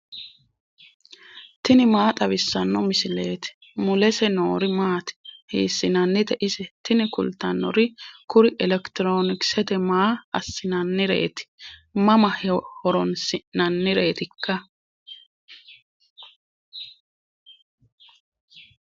tini maa xawissanno misileeti ? mulese noori maati ? hiissinannite ise ? tini kultannori kuri elekitiroonkisete maa assinannireeti mama horoonsi'nannireetikka